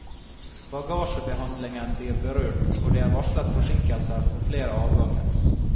Bagasjebehandlingen blir berørt, og det er varslet forsinkelser for flere avganger.